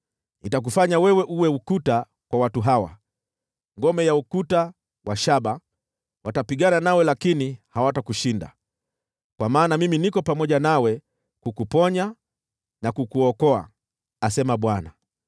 Nitakufanya wewe uwe ukuta kwa watu hawa, ngome ya ukuta wa shaba; watapigana nawe lakini hawatakushinda, kwa maana mimi niko pamoja nawe kukuponya na kukuokoa,” asema Bwana .